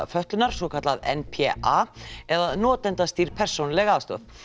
fötlunar svokallað n p a eða notendastýrð persónuleg aðstoð